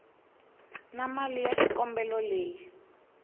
na mali ya xikombelo leyi